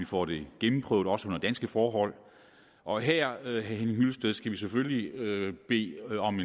får det gennemprøvet under danske forhold og her vil jeg hyllested skal vi selvfølgelig bede om